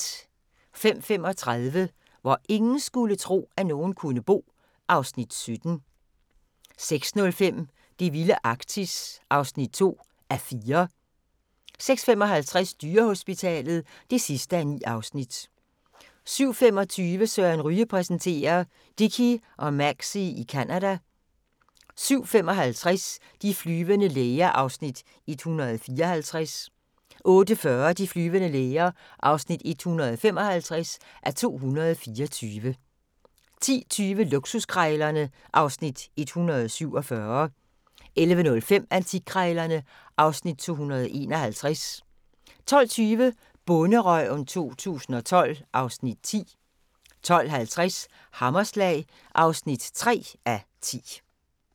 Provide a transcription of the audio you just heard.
05:35: Hvor ingen skulle tro, at nogen kunne bo (Afs. 17) 06:05: Det vilde Arktis (2:4) 06:55: Dyrehospitalet (9:9) 07:25: Søren Ryge præsenterer: Dickie og Maxie i Canada 07:55: De flyvende læger (154:224) 08:40: De flyvende læger (155:224) 10:20: Luksuskrejlerne (Afs. 147) 11:05: Antikkrejlerne (Afs. 251) 12:20: Bonderøven 2012 (Afs. 10) 12:50: Hammerslag (3:10)